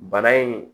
Bana in